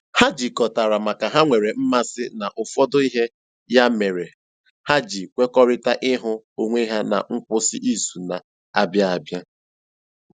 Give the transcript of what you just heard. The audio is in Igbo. Ha jikọtara maka ha nwere mmasị na ụfọdụ ihe, ya mere ha ji kwekọrịtara ịhụ onwe ha na nkwụsị izu na - abịa abịa